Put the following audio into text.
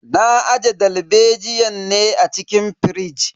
Na aje dalbejiyan ne a cikin firij.